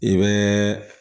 I bɛ